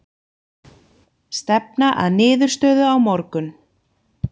Stefna að niðurstöðu á morgun